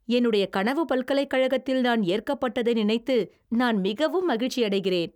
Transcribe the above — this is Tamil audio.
என்னுடைய கனவுப் பல்கலைக்கழகத்தில் நான் ஏற்கப்பட்டதை நினைத்து நான் மிகவும் மகிழ்ச்சியடைகிறேன்.